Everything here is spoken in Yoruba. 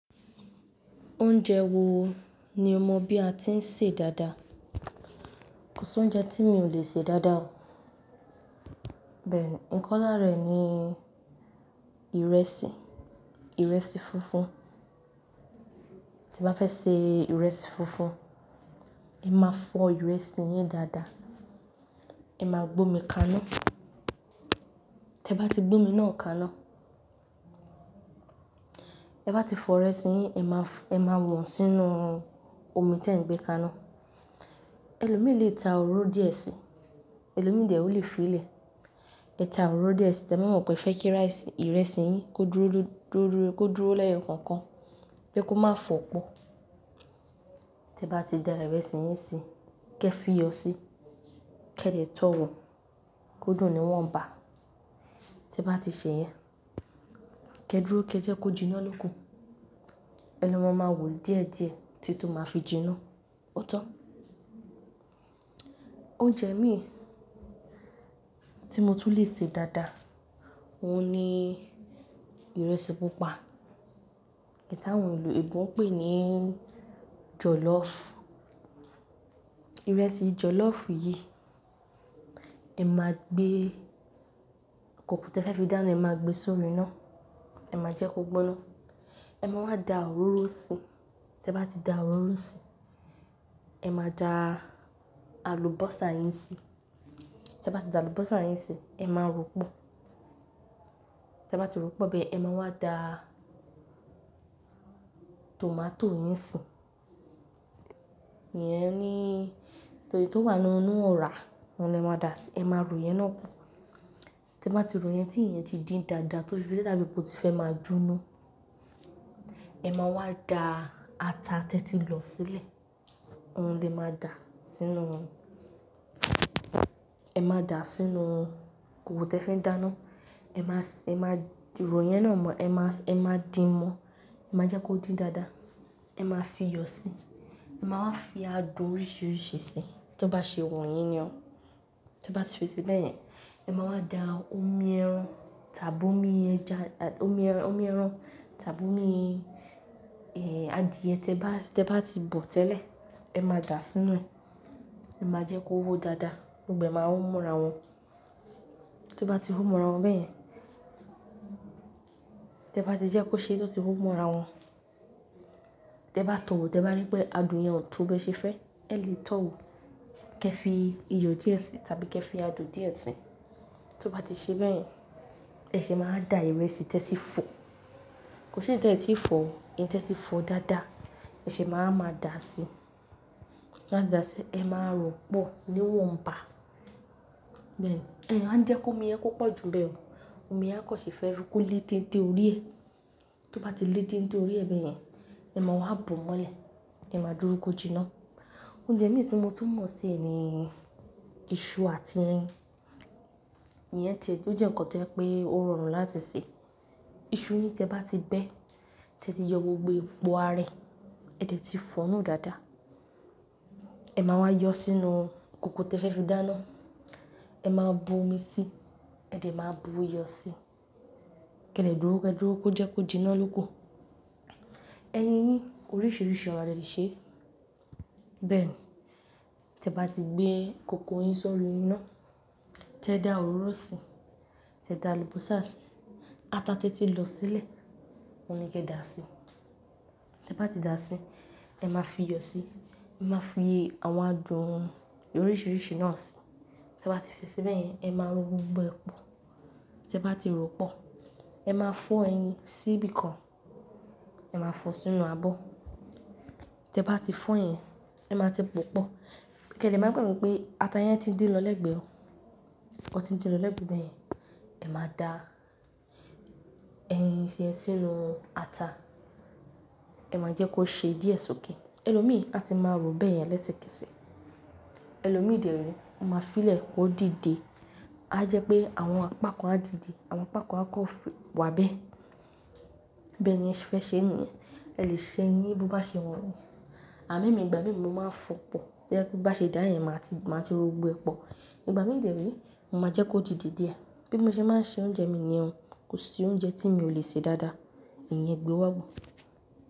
Oúnjẹ wo ni o mọ bí a ti ń sè dáadáa? Kò sí oúnjẹ tí mi ò le sè dáadáa o. Bẹ́ẹ̀ni, kan lára rẹ̀ ni ìrẹsì, ìrẹsì funfun. Tí bá fẹ́ sè ìrẹsì funfun, ẹ máa fọ ìrẹsì yín dáadáa. Ẹ máa gbómi kaná. Tẹ bá ti gbómi náà kaná, tẹ bá ti fọ ìrẹsì yín, ẹ máa wọ̀n sínú omi tí ẹ̀ ń gbé kaná. Ẹ̀lọ́ mí lè ta òróró díẹ̀ síi, ẹlòmíì dè o lè fi ìlẹ̀. Ẹ ta òróró díẹ̀ síi, tẹ máa mọ̀ pé ìfẹ́ kí rice ìrẹsì yín kó dúró lẹ́ẹ̀kọ̀kan, pé kó má fọ́ pọ̀. Tẹ bá ti da ìrẹsì yín si, kí ẹ fi iyọ̀ síi, kí ẹ lè tọ́ wò ó. Kódun ni wọ́n ń bà. Tẹ bá ti ṣe yẹn, kí ẹ dúró kí ẹ jẹ́ kó jinná lóko. Ẹlo mọ máa wò díẹ̀díẹ̀ títí tí ó máa fi jinná. Ó tọ́. Oúnjẹ mí tí mo tún lè sè dáadáa, òun ni ìrẹsì pupa. Ìta wọn ìlú Ẹ̀gbọ́n pè é ní jọ̀lọ́ọ̀fù. Ìrẹsì jọ̀lọ́ọ̀fù yìí, ẹ máa gbé kòkò tí ẹ fẹ́ fi dáná, ẹ máa gbé sórí iná. Ẹ máa jẹ́ kó gbóná. Ẹ máa wá da òróró síi. Tẹ bá ti da òróró síi, ẹ máa da àlùbọ́sà yín síi. Tẹ bá ti da àlùbọ́sà yín síi, ẹ máa rọ̀pọ̀. Tẹ bá ti rọ̀pọ̀ bẹ́ẹ̀, ẹ máa wá da tòmátò yín sùn. Iyẹn ni tòdi tó wà nínú ọ̀rá, òun ni ẹ máa dà síi. Ẹ máa ro yẹn náà pọ̀. Tẹ bá ti ro yẹn tí iye ti dí dáadáa tótí pé tí ẹ bá ti fẹ́ máa jinná, ẹ máa wá da ata tí ẹ ti lọ sílẹ̀. Òun ni ẹ máa dà sínú, ẹ máa dà sínú kòkò tí ẹ fin dáná. Ẹ máa rọ̀ yẹn náà mọ́, ẹ máa dín ẹ́ mọ́. Ẹ máa jẹ́ kó dín dáadáa. Ẹ máa fi iyọ̀ síi. Ẹ máa wá fi adùn oríṣìíríṣìí síi. Tó bá ṣe wun yín ni o. Tó bá ti fi síi bẹ́yẹn, ẹ máa wá da omi ẹran tàbí omi ẹran, adìẹ tí ẹ bá ti bọ̀ tẹ́lẹ̀, ẹ máa dà sínú rẹ̀. Ẹ máa jẹ́ kó hó dáadáa, gbogbo ẹ̀ máa hún mọ́ra wọn. To bá ti hún mọ́ra wọn bẹ́yẹn, tẹ bá ti jẹ́ kó ṣe tótí hún mọ́ra wọn. Tẹ bá tọ̀ wò, tẹ bá rí pé adùn yẹn ò tó bí ẹ ṣe fẹ́, ẹ lè tọ̀ wò. Kí ẹ fi iyọ̀ díẹ̀ síi tàbí kí ẹ fi adùn díẹ̀ síi. Tó bá ti ṣe bẹ́yẹn, ẹ ṣe máa da ìrẹsì tí ẹ ti fọ. Kò sí ìrẹsì tí ẹ ti fọ ó, èyí tí ẹ ti fọ dáadáa, ẹ ṣe máa máa dà á síi. Ẹ máa rọ̀pọ̀ ní wọ́n ń bà. Ẹ máa jẹ́ kó omi ẹ́ púpọ̀ ju bẹ́ẹ̀ mọ́. Omi náà kò ṣe é fẹ́ rí kó lé tí nítorí è. Tó bá ti lé tí nítorí è bẹ́yẹn, ẹ máa wá bu mọ́lẹ̀. Ẹ máa dúró kó jinná. Oúnjẹ mí sì tí mo tún mọ̀ sí ni iṣu àti ẹyin. Ìyẹn tì-- ó jẹ́ ǹkan tó rọrùn láti sè. Iṣu yìí tí ẹ bá ti bẹ́, tí ẹ ti yọ gbogbo epò ẹ́ rẹ, ẹ tìí fọ̀nú dáadáa. Ẹ máa wá yọ sínú kòkò tí ẹ fẹ́ fi dáná. Ẹ máa bu omi síi, ẹ de máa bu iyọ̀ síi. Kí ẹ lè dúró, kí ẹ dúró kó jẹ́ kó jinná lóko. Ẹyin ní oríṣiríṣi ọ̀rá lè ṣe é. Bẹ́ẹ̀ ni, tí ẹ bá ti gbé kòkò yín sọ́rí iná, tí ẹ da òróró síi, tí ẹ da àlùbọ́sà síi, ata tí ẹ ti lọ sílẹ̀, òun ni kí ẹ dà síi. Tí ẹ bá ti dà á síí, ẹ máa fi iyọ̀ síi. Ẹ máa fi àwọn adùn oríṣìíríṣìí náà síi. Tí ẹ bá ti fi síi bẹ́yẹn, ẹ máa ro gbogbo epo. Tí ẹ bá ti rọ̀pọ̀, ẹ máa fọ ẹyin sí ibìkan. Ẹ máa fọ sínú abọ́. Tí ẹ bá ti fọ yẹn, ẹ máa tẹ pọ̀pọ̀. Kí ẹ lè máa gbàgbọ́ pé ata yẹn ti dé lọ lẹ́gbẹ̀ẹ́ o. Ó ti ń din lọ lẹ́gbẹ̀ẹ́ bẹ́yẹn. Ẹ máa da ẹyin yen sí inú ata. Ẹ máa jẹ́ kó ṣe díẹ̀ sọ́kè. Ẹ̀lọ́ mí a ti máa ro bẹ́yẹn lẹ́sìkẹ́ẹ̀sì. Ẹ̀lọ́ mí dè é, a máa fi ìlẹ̀ kó dìde. A jẹ́ pé àwọn apakan á dìde, àwọn apakan á kọ̀ fẹ́ wá bẹ́ẹ̀. Bẹ́ẹ̀ eniyẹn fẹ́ ṣe é ni, ẹ lè ṣe ẹ́yín bí ó bá ṣe wun yín. Àmo èmí, ìgbà mí mi máa ń fọ pọ̀. Tí ẹ bá ṣe dáyè, ẹ máa ti ro gbogbo epo. Ìgbà mí dè rí, mo máa jẹ́ kó dìde díẹ̀. Bí mo ṣe máa ń ṣe oúnjẹ mi ni o. Kò sí oúnjẹ tí mi ò lè sè dáadáa. Ìyẹn gbé wọ́bù.